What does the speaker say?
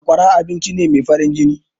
Sakwara abincine mai farin jini.